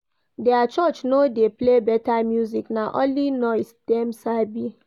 Their church no dey play better music, na only noise dem sabi